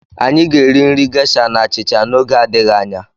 Anyị ga-eri nri Gesha na achịcha n'oge adịghị anya.